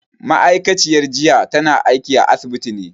Ma'aikaciyar jiya tana aiki a asibiti ne